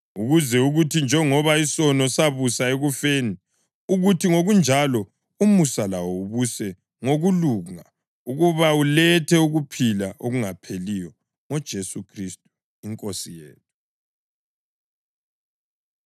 ukuze kuthi njengoba isono sabusa ekufeni, kuthi ngokunjalo umusa lawo ubuse ngokulunga ukuba ulethe ukuphila okungapheliyo ngoJesu Khristu iNkosi yethu.